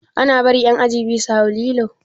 Ana bari ƴan aji biyu su hau lilo?